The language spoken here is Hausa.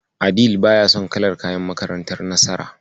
Adeel baya son kalar kayan makantar Nasara.